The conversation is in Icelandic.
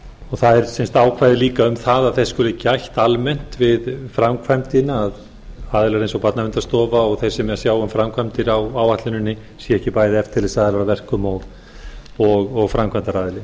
og það er sem sagt ákvæði líka um að þess skuli gætt almennt við framkvæmdina að aðilar eins og barnaverndarstofa og þeir sem eigi að sjá um framkvæmdir á áætluninni séu ekki bæði eftirlitsaðilar að verkum og framkvæmdaraðili